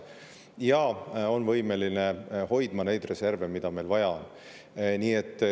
Nii on võimeline hoidma neid reserve, mida meil vaja on.